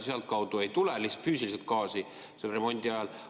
Sealtkaudu ei tule juba lihtsalt füüsiliselt gaasi remondi ajal.